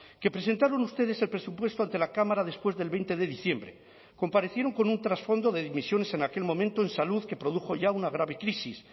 que presentaron ustedes el presupuesto ante la cámara después del veinte de diciembre comparecieron con un trasfondo de dimisiones en aquel momento en salud que produjo ya una grave crisis